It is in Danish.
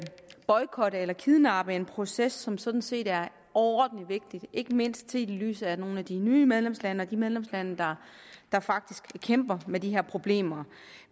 boykotte eller kidnappe en proces som sådan set er overordentlig vigtig ikke mindst set i lyset af nogle af de nye medlemslande og de medlemslande der faktisk kæmper med de her problemer